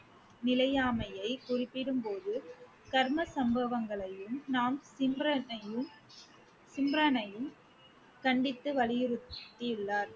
நிலையாமையை குறிப்பிடும்போது கர்ம சம்பவங்களையும் கண்டித்து வலியுறுத்தியுள்ளார்